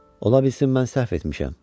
Ola bilsin mən səhv etmişəm.